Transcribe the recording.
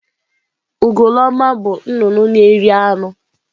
Ugoloọma bụ nnụnụ na-eri anụ.